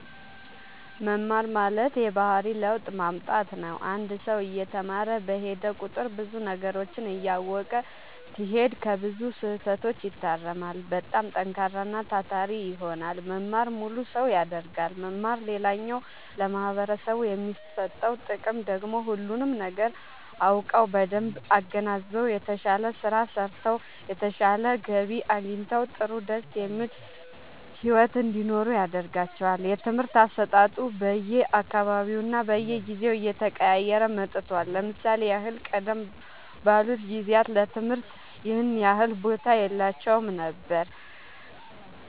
መማር ማለት የባህሪ ለውጥ ማምጣት ነው አንድ ሰው እየተማረ በሄደ ቁጥር ብዙ ነገሮችን እያወቀ ሲሄድ ከብዙ ስህተቶች ይታረማል በጣም ጠንካራና ታታሪ ይሆናል መማር ሙሉ ሰው ያደርጋል መማር ሌላኛው ለማህበረሰቡ የሚሰጠው ጥቅም ደግሞ ሁሉንም ነገር አውቀው በደንብ አገናዝበው የተሻለ ስራ ሰርተው የተሻለ ገቢ አግኝተው ጥሩ ደስ የሚል ሒወት እንዲኖሩ ያደርጋቸዋል። የትምህርት አሰጣጡ በየ አካባቢውና በየጊዜው እየተቀያየረ መጥቷል ለምሳሌ ያህል ቀደም ባሉት ጊዜያት ለትምህርት ይኸን ያህል ቦታ የላቸውም ነበር